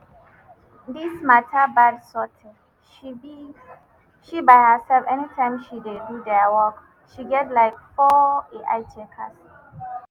dis mata bad sot she be she by herself anytime she dey do dia work she get like four ai checkers